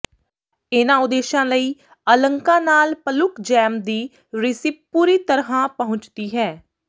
ਇਹਨਾਂ ਉਦੇਸ਼ਾਂ ਲਈ ਅਲੰਕਾਂ ਨਾਲ ਪਲੁਕ ਜੈਮ ਦੀ ਰਿਸੀਪ ਪੂਰੀ ਤਰ੍ਹਾਂ ਪਹੁੰਚਦੀ ਹੈ